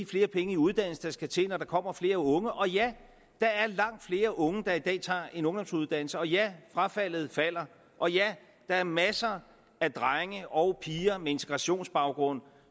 flere penge i uddannelse det skal til når der kommer flere unge og ja der er langt flere unge der i dag tager en ungdomsuddannelse og ja frafaldet falder og ja der er masser af drenge og piger med integrationsbaggrund